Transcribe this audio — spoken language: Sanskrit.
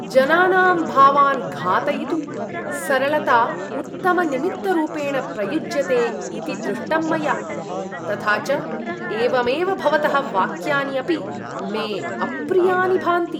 जनानां भावान् घातयितुं सरलता उत्तमनिमित्तरूपेण प्रयुज्यते इति दृष्टं मया, तथा च एवमेव भवतः वाक्यानि अपि मे अप्रियानि भान्ति।